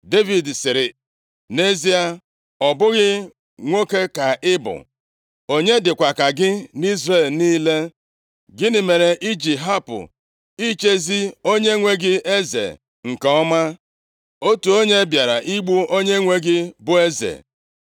Devid sịrị, “Nʼezie, ọ bụghị nwoke ka ị bụ? Onye dịkwa ka gị nʼIzrel niile? Gịnị mere i ji hapụ ichezi onyenwe gị eze nke ọma? Otu onye bịara igbu onyenwe gị, bụ eze.